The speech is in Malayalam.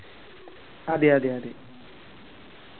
അതെ അതെ അതെ